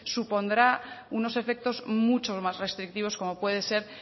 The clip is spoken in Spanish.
supondrá unos efectos muchos más restrictivos como puede ser